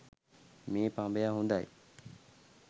මෙි පඹය හොදයි.